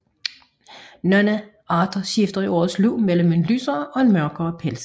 Nogle arter skifter i årets løb mellem en lysere og en mørkere pels